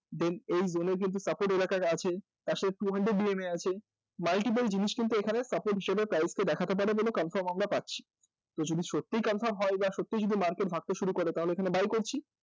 Then এই zone এ কিন্তু আছে, পাশের two hundred এ আছে multiple জিনিস কিন্তু এখানে support হিসেবে price কে দেখাতে পারে এমন confirmation আমরা পাচ্ছি তো যদি সত্যিই confirm হয় তাহলে এখানে buy করছি